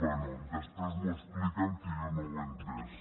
bé després m’ho expliquen que jo no ho he entès